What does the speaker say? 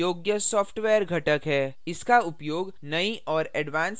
इसका उपयोग नई और advanced applications बनाने के लिए किया जा सकता है